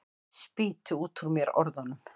Spýti út úr mér orðunum.